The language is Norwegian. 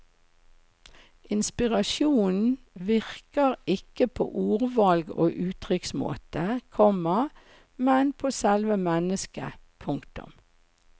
Inspirasjonen virker ikke på ordvalg og uttrykksmåte, komma men på selve mennesket. punktum